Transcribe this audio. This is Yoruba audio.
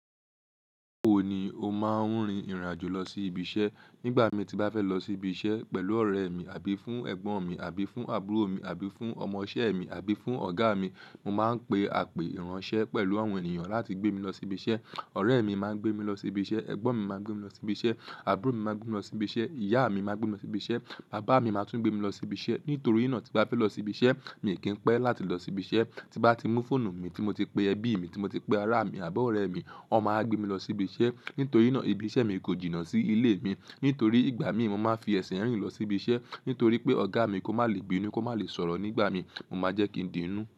Báwo ni o máa ń rin ìrìn àjò lọ sí ibi iṣẹ́? Nígbà mii tí n bá fẹ́ lọ sí ibi iṣẹ́ pẹ̀lú ọ̀rẹ́ mi, àbí fún Ẹ̀gbọ́n mi, àbí fún àbúrò mi, àbí fún ọmọṣẹ́ mi, àbí fún ọ̀gá mi, mo máa ń pe àpè ìránṣẹ́ pẹ̀lú àwọn ènìyàn láti gbé mi lọ sí ibi iṣẹ́. Ọ̀rẹ́ mi máa ń gbé mi lọ sí ibi iṣẹ́, ẹ̀gbọ́n mi máa ń gbé mi lọ sí ibi iṣẹ́, àbúrò mi máa ń gbé mi lọ sí ibi iṣẹ́, ìyá mi máa ń gbé mi lọ sí ibi iṣẹ́, bàbá mi máa tún gbé mi lọ sí ibi iṣẹ́. Nítorí ná tí n bá fẹ́ lọ sí ibi iṣẹ́, mi kì í pẹ́ láti lọ sí ibi iṣẹ́. Tí n bá ti mú fóònù mi tí mo ti pe ẹbí mi, tí mo ti pe ará mi àbọ̀ ọ̀rẹ́ mi, won máa wa gbé mi lọ sí ibi iṣẹ́. Nítorí ná ibi iṣẹ́ mi kò jìnnà sí ilé mi, nítorí ìgbà míì mo máa ń fi ẹ̀sìn rìn lọ sí ibi iṣẹ́. Nítorí pé ọ̀gá mi kò máa lè gbe nú, kò máa lè sọ̀rọ̀ nígbà mí, mo máa jẹ́ kí n di inú.